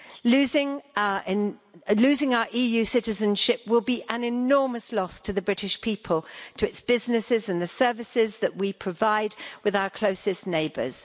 Losing our EU citizenship will be an enormous loss to the British people, to its businesses and the services that we provide with our closest neighbours.